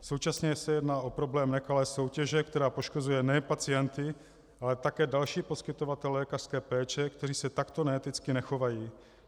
Současně se jedná o problém nekalé soutěže, která poškozuje nejen pacienty, ale také další poskytovatele lékařské péče, kteří se takto neeticky nechovají.